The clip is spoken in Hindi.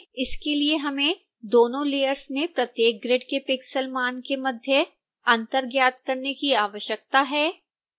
इसके लिए हमें दोनों layers में प्रत्येक ग्रिड के pixel मान के मध्य अंतर ज्ञात करने की आवश्यकता है